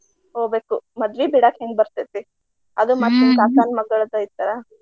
ಹೊಗ್ಬೇಕು ಮದ್ವಿ ಬಿಡಾಕ್ ಹೆಂಗ್ ಬರ್ತೈತಿ. ಅದು ಕಾಕಾನ್ ಮಗಳ್ದ ಐತ